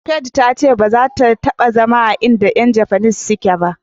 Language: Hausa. faith ta ce baza ta taba zama a in da Yan japanese suke ba.